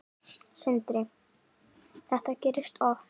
Sindri: Þetta gerist oft?